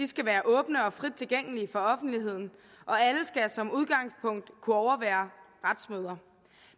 skal være åbne og frit tilgængelige for offentligheden og alle skal som udgangspunkt kunne overvære retsmøder